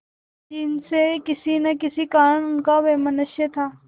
जिनसे किसी न किसी कारण उनका वैमनस्य था